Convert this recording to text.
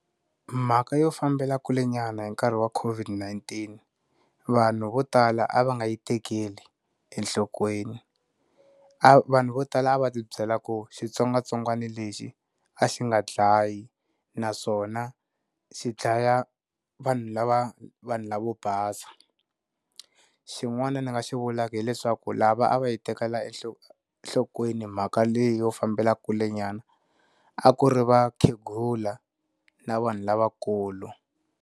Mhaka yo fambela kule nyana hi nkarhi wa COVID-19, vanhu vo tala a va nga yi tekeli enhlokweni. A vanhu vo tala a va ti byela ku xitsongwatsongwana lexi, a xi nga dlayi naswona xi dlaya vanhu lava vanhu lavo basa. Xin'wana ni nga xi vulaka hileswaku lava a va yi tekela enhlo enhlokweni mhaka leyi yo fambela kule nyana, a ku ri vakhegula na vanhu lavakulu.